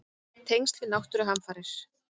Tengsl við náttúruhamfarir?